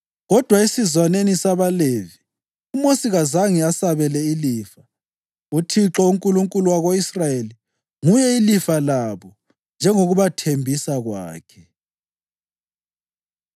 Kodwa esizwaneni sabaLevi, uMosi kazange asabele ilifa; uThixo, uNkulunkulu wako-Israyeli, nguye ilifa labo njengokubathembisa kwakhe.